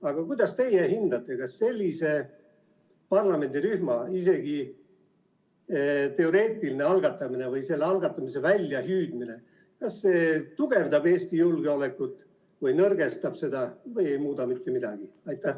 Aga kuidas teie hindate, kas sellise parlamendirühma isegi teoreetiline algatamine või selle algatamise väljahüüdmine tugevdab Eesti julgeolekut või nõrgestab seda või ei muuda mitte midagi?